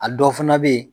A dɔw fana bɛ yen